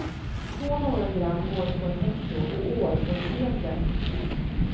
Så många gram går det på ett hekto och år på ett sekel.